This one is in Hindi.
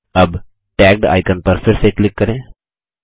अब टैग्ड आइकन पर फिर से क्लिक करें